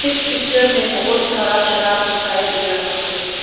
इस पिक्चर में बहोत सारा शराब दिखाई दे रहा है।